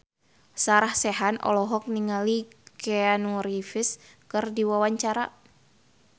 Sarah Sechan olohok ningali Keanu Reeves keur diwawancara